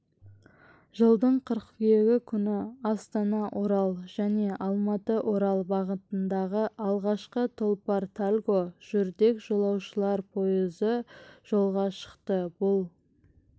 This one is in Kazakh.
жылдың қыркүйегі күні астанаорал және алматыорал бағытындағы алғашқы тұлпар-тальго жүрдек жолаушылар пойызы жолға шықты бұл